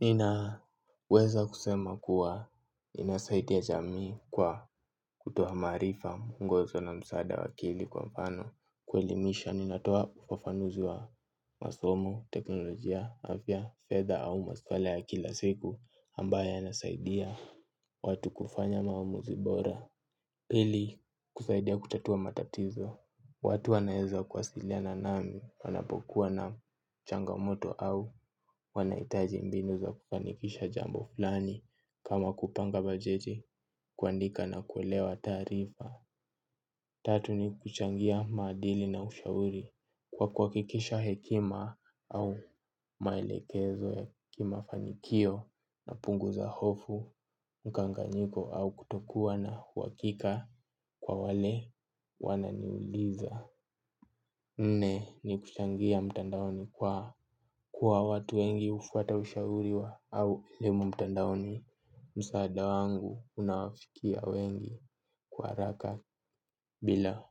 Nina weza kusema kuwa inasaidia jamii kwa kutoa marifa muungozo na msaada wa akili kwa mfano kuelimisha ninatoa ufafanuzi wa masomo, teknolojia, afya, feda au maswali ya kila siku ambaya nasaidia watu kufanya maumuzi bora. Ili kusaidia kutatua matatizo. Watu wanaeza kuasiliana na mimi wanapokuwa na changamoto au wanaitaji mbinu za kufanikisha jambo fulani kama kupanga bajete kuandika na kuelewa tarifa. Tatu ni kuchangia madili na ushauri kwa kuwakikisha hekima au maelekezo hekima fanikio na punguza hofu mkanganyiko au kutokuwa na huakika kwa wale wananiuliza. Nne ni kuchangia mtandaoni kwa kwa watu wengi ufata ushauri wa au elimu mtandaoni. Msaada wangu unawafikia wengi kwa haraka bila